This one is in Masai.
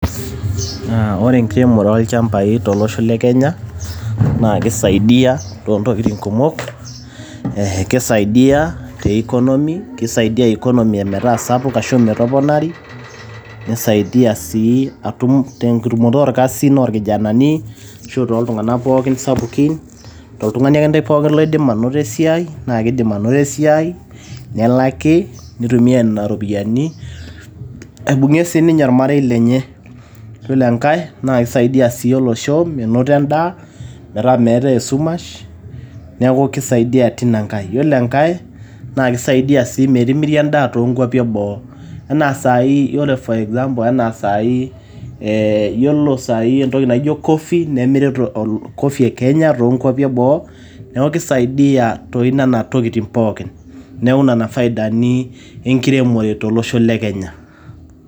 Naa ore enkiremore oo ilchambai tolosho le Kenya naa keisaidia too ntokitin kumok. Keisaidia te economy keisaidia economy metaa sapuk ashu metoponari neisaidia sii atum, tentumoto oo irkasin loo ilkijanani ashu too iltung`anak pookin sapukin ashu toltung`ani akeyie loidim anoto esiai naa kidim anoto esiai nelaki nitumia nena ropiyiani aibung`ie sii ninye ormarei lenye. Yiolo enkae naa kisaidia sii olsho menoto en`daa metaa meetai esumash niaku keisaidia tina nkae. Ore enkae naa kisaidia sii metimiri en`daa too nkuapi e boo enaa sai enaa ore for example enaa saai ee yiolo saai eentoki naijo coffee nemiri coffee e Kenya too nkuapi e boo niaku keisaidia too ntokitin pookin. Niaku nena faidani enkiremore to losho le Kenya.